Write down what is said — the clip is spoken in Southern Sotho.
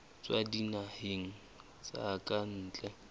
tswa dinaheng tsa ka ntle